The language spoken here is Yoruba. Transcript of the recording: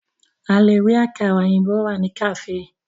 A lè rí àkàrà òyìnbó rà ní kàféè.